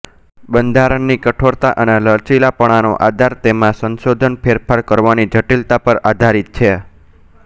બંધારણની કઠોરતા અને લચીલાપણાનો આધાર તેમાં સંશોધનફેરફાર કરવાની જટિલતા પર આધારિત છે